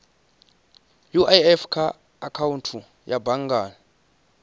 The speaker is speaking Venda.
uif kha akhaunthu ya banngani